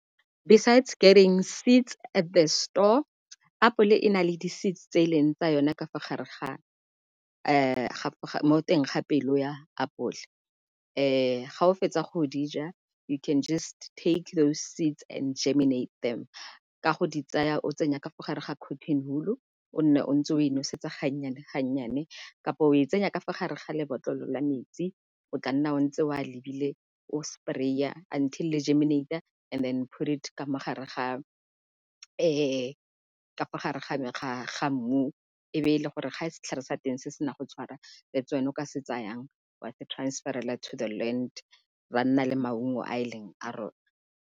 Besides getting seeds at the store apole e nale di-seeds tse e leng tsa yona ka fa gare ga mo teng ga pelo ya apole. Ga o fetsa go dija you can just take those seeds and geminate them, ka go di tsaya o tsenya ka fa gare ga cotton wool-u o nne o ntse o e nosetsa gannyane-gannyane kapa o e tsenya ka fa gare ga lebotlolo la metsi o tla nna o ntse o a lebile o spray-a until le geminate-a and put it ka mo gare ga , ka fa gare ga mmu e be e le gore ga e setlhare sa teng se sena go tshwara that's when o ka se tsayang wa se transfer-ela to the land ra nna le maungo a e leng a rona.